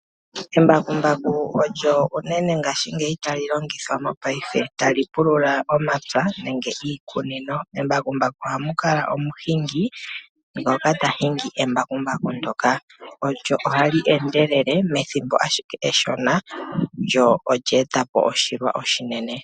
Embakumbaku olyo unene ngaashingeyi tali longithwa mopaife tali pulula omapya nenge iikunino. Membakumbaku ohamu kala omuhingi ngoka teli hingi. Lyo ohali endelele methimbo eshona lyo olya etapo oshilwa oshinene.